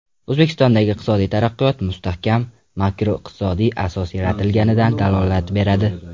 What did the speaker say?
O‘zbekistondagi iqtisodiy taraqqiyot mustahkam makroiqtisodiy asos yaratilganidan dalolat beradi.